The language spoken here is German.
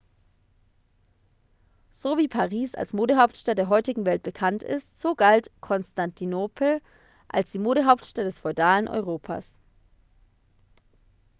so wie paris als modehauptstadt der heutigen welt bekannt ist so galt konstantinopel als die modehauptstadt des feudalen europas